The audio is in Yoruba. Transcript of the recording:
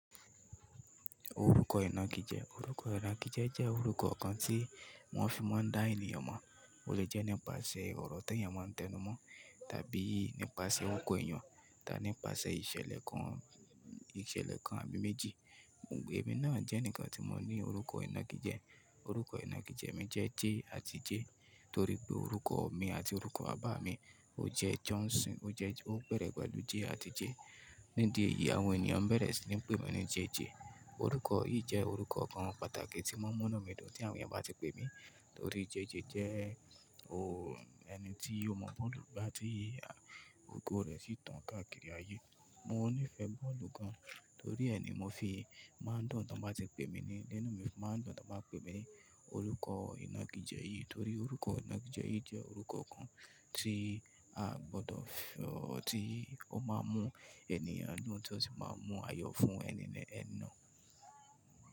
Orúkọ ìnagijẹ. Orúkọ ìnagijẹ jẹ́ orúkọ kan tí wọ́n fi máa ń dá ènìyàn mọ̀. O lè jẹ́ nípasẹ̀ ọ̀rọ̀ t'eeyàn máa ń tẹnu mọ́, tàbí nípasẹ̀ orúkọ èyàn, tàbí nípasẹ̀ ìṣẹ̀lẹ̀ kan, ìṣẹ̀lẹ̀ kan àbí méjì. Ẹ mi náà jẹ́ ǹkan tí mo ní orúkọ ìnagijẹ. Orúkọ ìnagijẹ mi jẹ́ J àti J. Torí pé orúkọ mi àti orúkọ bàbá mi ó jẹ́ Johnson, ó jẹ́, ó bẹ̀rẹ̀ pẹ̀lú J àti J. Ní di ẹyì, àwọn ènìyàn bẹ̀rẹ̀ sí ní pè mí ní JJ. Orúkọ yìí jẹ́ orúkọ kan pàtàkì tí mọ́n múnú mi dùn tí àwọn èyàn bá ti pè mí. Torí JJ jẹ́ o ò-- ẹni tí ó mọ̀ bọ́ọ̀lù gbá ti ogo rẹ̀ sì tàn káàkiri ayé. Mo nífẹ̀ẹ́ bọ́ọ̀lù gan, torí ẹ ni mo fi máa ń dùn tán bá ti pè mí ní, inú mi máa ń dùn tán bá pè mí ní orúkọ ìnagijẹ yìí. Torí orúkọ ìnagijẹ yì jẹ́ orúkọ kan tí aa gbọ́dọ̀ tí ó máa ń mú ènìyàn dùn tí ó sì máa ń mú ayọ̀ fún ẹni náà.